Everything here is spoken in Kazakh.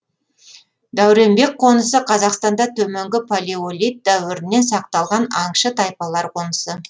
дәуренбек қонысы қазақстанда төменгі палеолит дәуірінен сақталған аңшы тайпалар қонысы